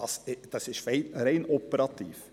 Das ist doch rein operativ.